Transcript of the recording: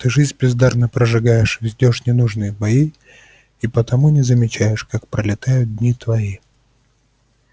ты жизнь бездарно прожигаешь ведёшь ненужные бои и потому не замечаешь как пролетают дни твои